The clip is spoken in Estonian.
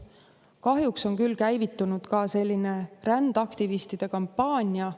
Kahjuks on küll käivitunud selline rändaktivistide kampaania.